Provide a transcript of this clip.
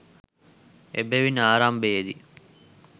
එබැවින් ආරම්භයේ දී